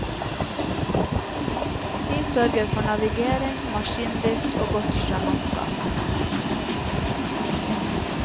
De sørger for navigering, maskindrift og godt sjømannskap.